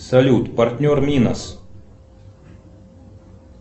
салют партнер минас